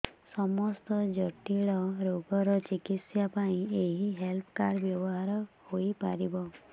ସମସ୍ତ ଜଟିଳ ରୋଗର ଚିକିତ୍ସା ପାଇଁ ଏହି ହେଲ୍ଥ କାର୍ଡ ବ୍ୟବହାର ହୋଇପାରିବ